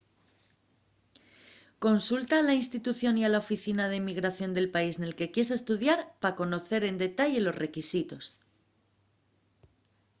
consulta a la institución y a la oficina d’inmigración del país nel que quies estudiar pa conocer en detalle los requisitos